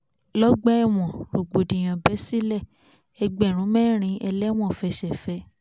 lọ́gbà ẹ̀wọ̀n rògbòdìyàn bẹ́ sílẹ̀ ẹgbẹ̀rún mẹ́rin ẹlẹ́wọ̀n fẹsẹ̀ fẹ